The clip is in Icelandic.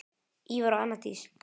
Ívar og Anna Dís.